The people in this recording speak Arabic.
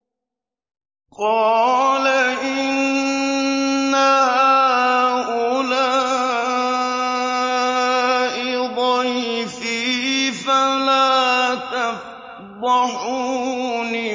قَالَ إِنَّ هَٰؤُلَاءِ ضَيْفِي فَلَا تَفْضَحُونِ